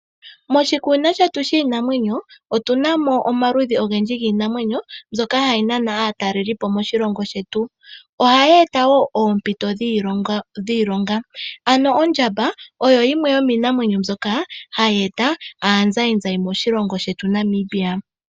Moshikunino shetu shiinamwenyo otunamo omaludhi ogendji giinamwenyo mbyoka hayi nana aatalelipo moshilongo shetu ohayi eta woo oompito dhiloonga. Ano ondjamba oyo yimwe yomiinamwenyo mbyoka hayi eta aazayizayi moshilongo shetu Namibia.